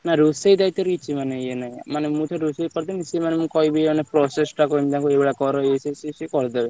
ନାଇଁ ରୋଷେଇ ଦାଇତ୍ଵରେ ମାନେ କିଛି ଏ ନାହିଁ ମାନେ ମୁଁ ତ ରୋଷେଇ କରିଦେବି ସିଏ ମାନେ କହିବେ ମାନେ process ଟା କହିବେ ତମେ ଏଇ ଭଳିଆ କର ଏଇ ସେଇ ସିଏ କରିଦେବେ।